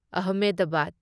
Ahmedabad